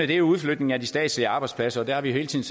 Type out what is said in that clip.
det er udflytning af de statslige arbejdspladser der har vi hele tiden